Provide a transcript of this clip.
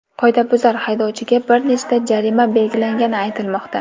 Qoidabuzar haydovchiga bir nechta jarima belgilangani aytilmoqda.